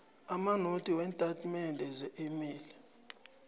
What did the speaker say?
amanothi weentatimende zeemali